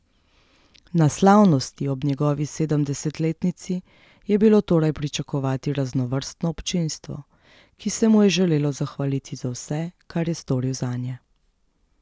Na slavnosti ob njegovi sedemdesetletnici je bilo torej pričakovati raznovrstno občinstvo, ki se mu je želelo zahvaliti za vse kar je storil zanje.